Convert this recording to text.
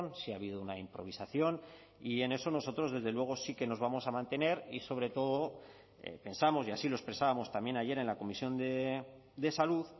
sí ha habido una improvisación y en eso nosotros desde luego sí que nos vamos a mantener y sobre todo pensamos y así lo expresábamos también ayer en la comisión de salud